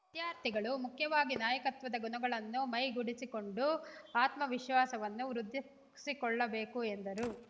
ವಿದ್ಯಾರ್ಥಿಗಳು ಮುಖ್ಯವಾಗಿ ನಾಯಕತ್ವದ ಗುಣಗಳನ್ನು ಮೈಗೂಡಿಸಿಕೊಂಡು ಆತ್ಮವಿಶ್ವಾಸವನ್ನು ವೃದ್ಧಿಸಿಕೊಳ್ಳಬೇಕು ಎಂದರು